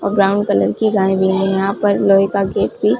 brown colour की गाय भी है यहां पर लोहे का गेट भी--